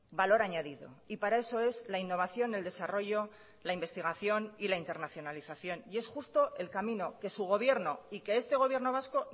valor añadido y para eso es la innovación el desarrollo la investigación y la internacionalización y es justo el camino que su gobierno y que este gobierno vasco